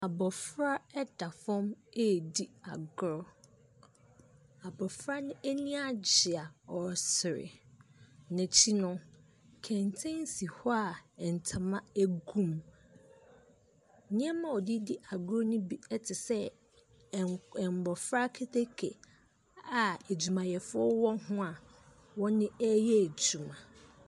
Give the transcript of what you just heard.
Abɔfra da fam redi agorɔ. Abɔfra no ani agye a ɔresere. N'akyi no, kɛntɛn si hɔ a ntoma gu mu. Nneɛma a ɔde redi agorɔ no bi te sɛ ɛnn mmɔfra keteke a adwumayɛfoɔ wɔ ho a wɔreyɛ adwum.